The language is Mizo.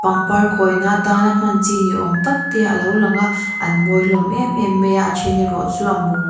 pangpar khawi na atana hman chi ni awm tak te alo lang a an mawi hlawm em em mai a a then erawh chu a mum--